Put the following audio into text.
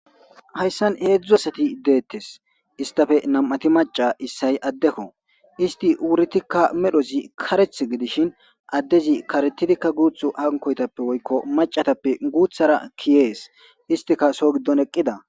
Hayssan heedzdzu asati deettes istafe nam7ati maca issay addekko isti wuritikka medhozi kareth gidishin addezi karetidikka guuthu hankoytappe woykko macatappe guuthara kiyees istika so giddon eqqida.